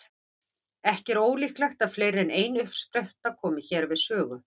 Ekki er ólíklegt að fleiri en ein uppspretta komi hér við sögu.